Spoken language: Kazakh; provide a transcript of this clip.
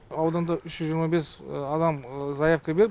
ауданда үш жүз жиырма бес адам заявка берді